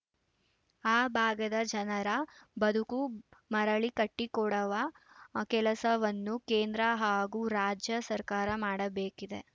ಆ ಭಾಗದ ಜನರ ಬದುಕು ಮರಳಿ ಕಟ್ಟಿಕೊಡವ ಕೆಲಸವನ್ನು ಕೇಂದ್ರ ಹಾಗೂ ರಾಜ್ಯ ಸರ್ಕಾರ ಮಾಡಬೇಕಿದೆ